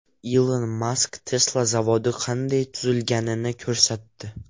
Ilon Mask Tesla zavodi qanday tuzilganini ko‘rsatdi .